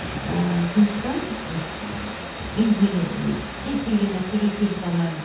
ііі сондықтан енді мен м кез келген нәрсеге келісе алмаймын